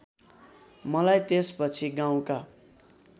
मलाई त्यसपछि गाउँका